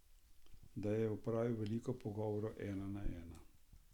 Da je opravil veliko pogovorov ena na ena?